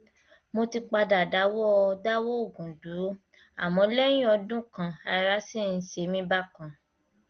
mo ti padà dáwọ dáwọ òògùn dúró àmọ lẹyìn ọdún kan ará sì ń ṣe mí bákan